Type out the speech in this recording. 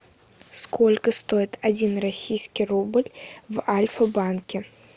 сколько стоит один российский рубль в альфа банке